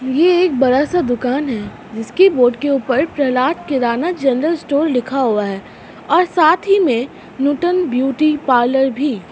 ये एक बड़ा सा दुकान है जिसके बोर्ड के ऊपर प्रहलाद केदार नाथ जनरल स्टोर लिखा हुआ है और साथ ही में नूतन ब्यूटी पार्लर भी--